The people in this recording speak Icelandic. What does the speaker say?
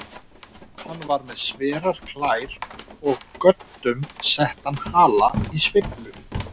Hann var með sverar klær og göddum settan hala í sveiflu.